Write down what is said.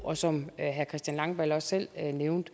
og som herre christian langballe også selv nævnte